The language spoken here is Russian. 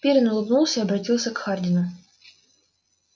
пиренн улыбнулся и обратился к хардину